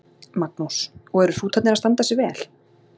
Magnús: Og eru hrútarnir að standa sig vel?